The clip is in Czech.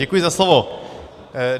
Děkuji za slovo.